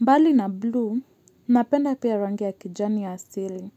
Mbali na blue, napenda pia rangi ya kijani ya asili.